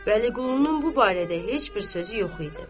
Vəliqulunun bu barədə heç bir sözü yox idi.